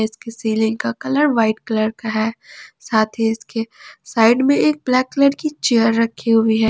इसकी सीलिंग का colour white colour का है साथ ही इसके साइड में एक ब्लैक कलर की चेयर रखी हुई है।